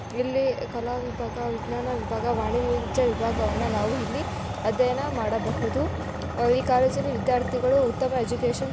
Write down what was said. ಇಲ್ಲಿ ಕಾಲ ವಿಭಾಗ ವಿಜ್ಞಾನ ವಿಭಾಗ ವಾಣಿಜ್ಯ ವಿಭಾಗವನ್ನು ನಾವು ಇಲ್ಲಿ ಅದ್ಯಾಯನ ಮಾಡಬಹುದು ಈ ಕಾಲೆಜಲ್ಲಿ ವಿದ್ಯಾರ್ಥಿಗಳು ಉತ್ತಮ ಎಜುಕೆಶನ್‌ --